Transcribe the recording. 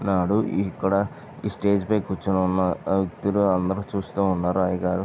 న్నాడు ఈ ఇక్కడ ఈ స్టేజి పై కూర్చుని ఉన్న వ్యక్తులు అందరూ చూస్తా ఉన్నారు అయ్యగారు --